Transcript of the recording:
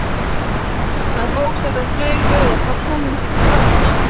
Hann bókstaflega flaug upp á túnið til strákanna.